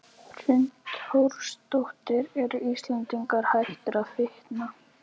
Hrund Þórsdóttir: Eru Íslendingar hættir að fitna?